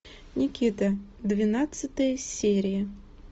никита двенадцатая серия